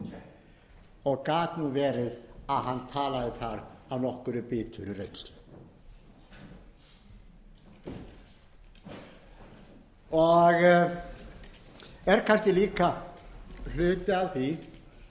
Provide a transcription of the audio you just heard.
foringjaveldið og gat verið að hann talaði þar af nokkuð biturri reynslu og er kannski líka hluti af